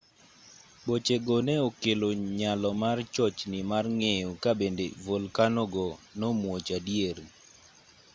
bochego ne okelo nyalo mar chochni mar ng'eyo kabende volkanogo nomuoch adier